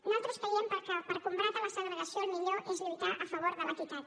nosaltres creiem que per combatre la segregació el millor és lluitar a favor de l’equitat